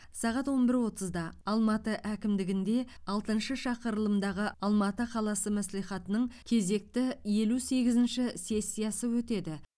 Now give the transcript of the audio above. сағат он бір отызда алматы әкімдігінде алтыншы шақырылымдағы алматы қаласы мәслихатының кезекті елу сегізінші сессиясы өтеді